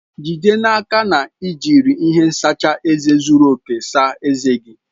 Jide n'aka na i jiri ihe ntacha eze zuru oke saa ezé gị!